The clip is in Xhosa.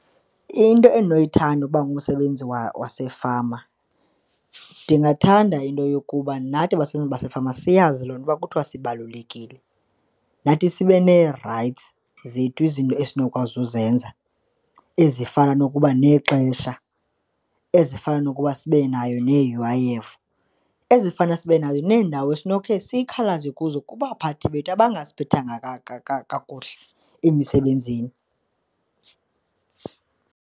Into endinoyithanda ukuba ngumsebenzi wasefama, ndingathanda into yokuba nathi basebenzi basefama siyazi loo nto uba kuthiwa sibalulekile. Nathi sibe nee-rights zethu, izinto esinokwazi uzenza ezifana nokuba nexesha, ezifana nokuba sibe nayo ne-U_I_F, ezifana sibe nazo neendawo esinokhe sikhalaze kuzo kubaphathi bethu abangasiphethanga kakuhle emisebenzini.